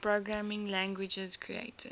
programming languages created